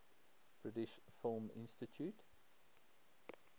british film institute